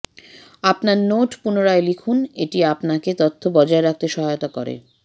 আপনার নোট পুনরায় লিখুন এটি আপনাকে তথ্য বজায় রাখতে সহায়তা করতে পারে